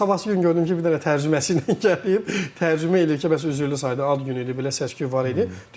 Sabahsı gün gördüm ki, bir dənə tərcüməçi ilə gəlib, tərcümə eləyir ki, bəs üzrlü saydı ad günü idi, belə səsküy var idi.